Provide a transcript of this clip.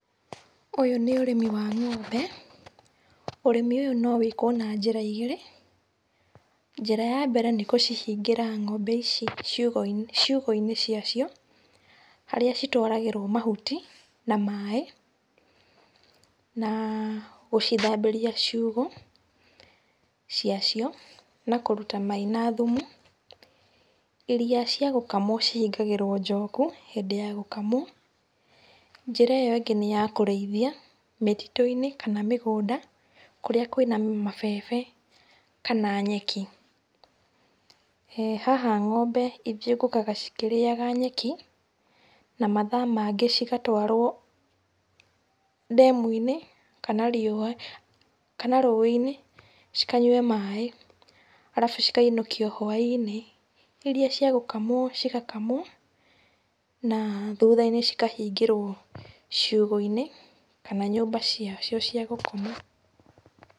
Ũyũ nĩ ũrĩmi wa ng'ombe, ũrĩmi ũyũ no wĩkwo na njĩra igĩrĩ. Njĩra ya mbere nĩ gũcihingĩra ng'ombe ici ciugũ-inĩ cia cio, harĩa citwaragĩrwo mahuti na maĩ na gũcithambĩria ciugũ cia cio na kũruta mai na thumu. Iria cia gũkamwo cihingagĩrwo njoku hĩndĩ ya gũkamwo. Njĩra ĩyo ĩngĩ nĩ yakũrĩithia mĩtitũ-inĩ kana mĩgũnda kũrĩa kwĩna mabebe kana nyeki. Haha ng'ombe ithiũngũkaga cikĩrĩaga nyeki na mathaa mangĩ cigatwarwo ndemu-inĩ kana rũĩ-inĩ cikanyue maĩ arabu cikainũkio hwa-inĩ, iria cia gũkamwo cigakamwo na thutha-inĩ cikahingĩrwo ciũgũ-inĩ kana nyũmba-inĩ ciacio cia gũkoma.